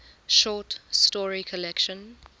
short story collection